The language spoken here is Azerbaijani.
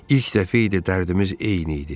İlk dəfə idi dərdimiz eyni idi.